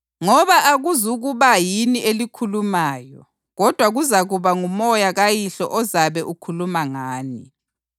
ngoba akuzukuba yini elikhulumayo kodwa kuzakuba nguMoya kaYihlo ozabe ukhuluma ngani.